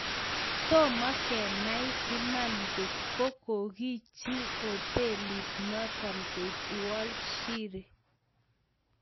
Toma kenai Iman ngot ko kokichi hotelit notok koek uolp sheree.